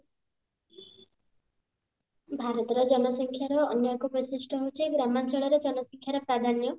ଭାରତର ଜନସଂଖ୍ୟାର ଅନ୍ୟ ଏକ ବୈଶିଷ୍ଟ ହଉଛି ଗ୍ରାମଞ୍ଚଳରେ ଜନସଂଖ୍ୟାର ପ୍ରାଧାନ୍ୟ